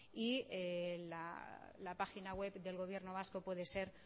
la página web del gobierno vasco puede ser